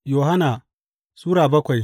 Yohanna Sura bakwai